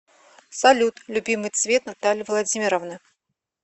салют любимый цвет натальи владимировны